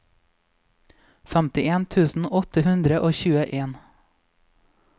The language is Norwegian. femtien tusen åtte hundre og tjueen